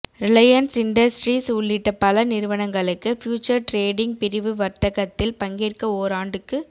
Reliance Industries உள்ளிட்ட பல நிறுவனங்களுக்கு ஃபியூச்சர் டிரேடிங் பிரிவு வர்த்தகத்தில் பங்கேற்க ஓராண்டுக்கு